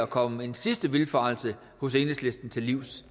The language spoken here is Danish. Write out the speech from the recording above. komme en sidste vildfarelse hos enhedslisten til livs